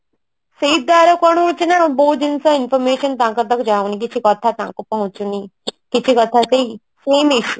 ସେଇ ଦ୍ଵାରା କଣ ହଉଛି ନା ବହୁ ଜିନିଷ information ତାଙ୍କ ପାଖକୁ ଯାଉନି କୀଚ କଥା ତାଙ୍କୁ ପହଞ୍ଚୁନି କିଛି କଥା